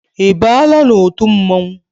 I baala n'otu mmọnwụ?